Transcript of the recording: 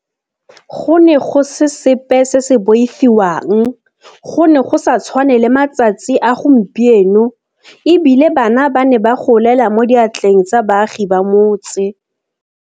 Go ne go se sepe se se boifiwang, go ne go sa tshwane le matsatsi a gompieno, e bile bana ba ne ba golela mo diatleng tsa baagi ba motse.